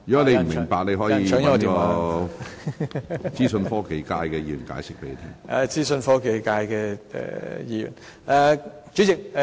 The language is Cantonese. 你如有不明白之處，可向代表資訊科技界別的議員查詢。